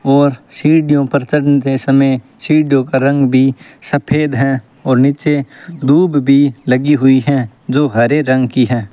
और सीढ़ीयो पर चंढते समय सीढ़ीयो का रंग भी सफेद है और नीचे धूप भी लगी हुई है जो हरे रंग की है।